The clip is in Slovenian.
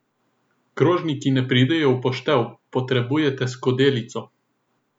Krožniki ne pridejo v poštev, potrebujete skledico.